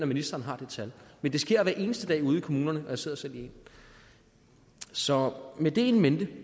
ministeren har det tal men det sker hver eneste dag ude i kommunerne og jeg sidder selv i en så med det in mente